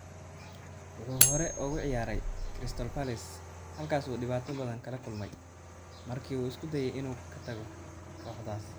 Wuxuu hore ugu ciyaaray Crystal Palace halkaas oo uu dhibaato badan kala kulmay markii uu isku dayay inuu ka tago kooxdaas.